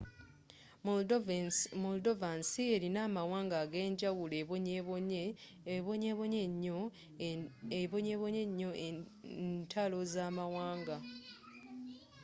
moldova nsi erina amawanga ag'enjawulo ebonyebonye enyoo n'entalo zamawanga